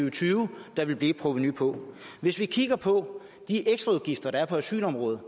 og tyve der vil blive et provenu på hvis vi kigger på de ekstraudgifter der er på asylområdet